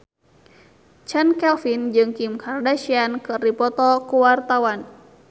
Chand Kelvin jeung Kim Kardashian keur dipoto ku wartawan